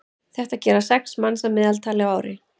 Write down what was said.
þetta gera sex manns að meðaltali á ári